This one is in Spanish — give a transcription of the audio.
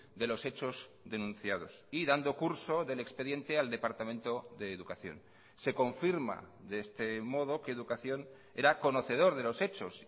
de los hechos denunciados y dando curso del expediente al departamento de educación se confirma de este modo que educación era conocedor de los hechos